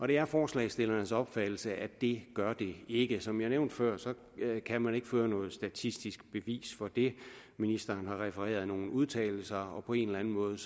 det er forslagsstillernes opfattelse at det gør det ikke som jeg nævnte før kan man ikke føre noget statistisk bevis for det ministeren har refereret nogle udtalelser og på en eller anden måde